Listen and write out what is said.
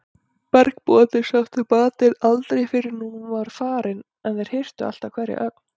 Bergbúarnir sóttu matinn aldrei fyrr en hún var farin en þeir hirtu alltaf hverja ögn.